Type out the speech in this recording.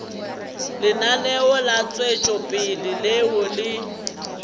lenaneo la tšwetšopele leo le